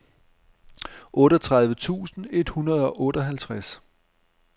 otteogtredive tusind et hundrede og seksoghalvtreds